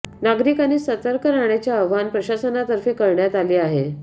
नागरिकांनी सतर्क राहण्याचे आवाहन प्रशासनातर्फे करण्यात आले आहे